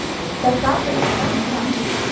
Veit að ég hlakka til að henni batni.